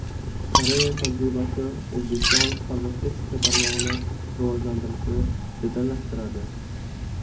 Koreya tajribasi O‘zbekiston farmatsevtika tarmog‘ini rivojlantirishni jadallashtiradi.